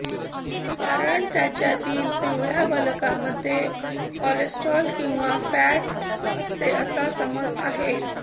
कारण त्याच्यातील पिवळ्या बलकामध्ये कोलेस्ट्रॉल किंवा फॅट असते असा समज आहे